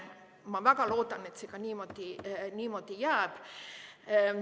Ma väga loodan, et see ka niimoodi jääb.